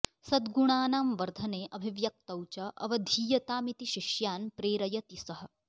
सद्गुणानां वर्धने अभिव्यक्तौ च अवधीयतामिति शिष्यान् प्रेरयति सः